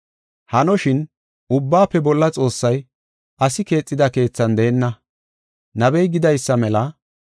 “Hanoshin, Ubbaafe Bolla Xoossay asi keexida keethan deenna. Nabey gidaysa mela,